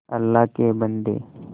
अल्लाह के बन्दे